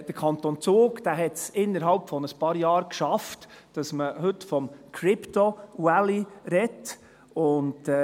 Der Kanton Zug hat es innerhalb von ein paar Jahren geschafft, dass man heute vom «Krypto Valley» spricht.